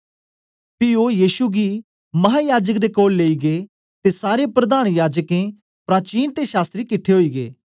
पी ओ यीशु गी महायाजक दे कोल लेई गै ते सारे प्रधान याजकें प्राचीन ते शास्त्री किट्ठे ओई गै